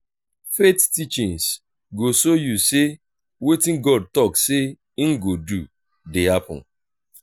faith teachings go show yu say wetin god talk say im go do dey happened.